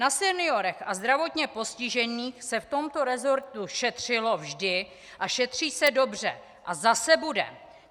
Na seniorech a zdravotně postižených se v tomto resortu šetřilo vždy a šetří se dobře a zase bude.